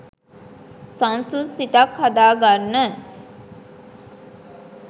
සන්සුන් සිතක් හදා ගන්න